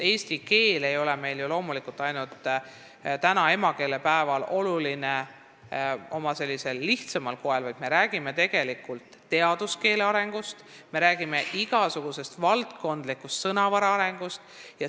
Eesti keel ei ole meile oluline ju ainult täna, emakeelepäeval, oma sellisel lihtsamal koel, vaid me räägime tegelikult teaduskeele arengust, igasuguse valdkondliku sõnavara arengust.